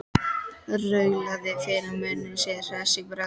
Raulaði fyrir munni sér hress í bragði.